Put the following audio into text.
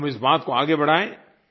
हम इस बात को आगे बढ़ाएँ